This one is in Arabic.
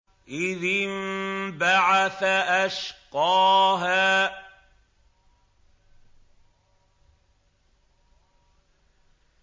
إِذِ انبَعَثَ أَشْقَاهَا